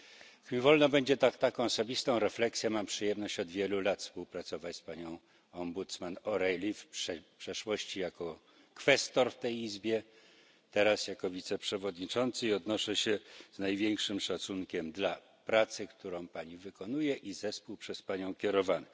Niech mi wolno będzie poczynić taką osobistą refleksję, mam przyjemność od wielu lat współpracować z panią rzecznik O'Reilly, w przeszłości jako kwestor w tej izbie, teraz jako wiceprzewodniczący, i odnoszę się z największym szacunkiem do pracy, którą pani wykonuje i zespół przez panią kierowany.